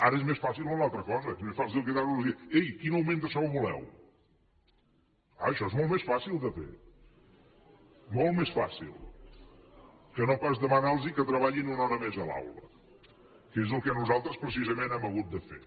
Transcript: ara és més fàcil una altra cosa és més fàcil cridar los i dir ei quin augment de sou voleu clar això és molt més fàcil de fer molt més fàcil que no pas demanar los que treballin una hora més a l’aula que és el que nosaltres precisament hem hagut de fer